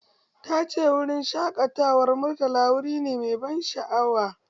Tace wurin shaƙatawar Murtala wuri nemai ban sha'awa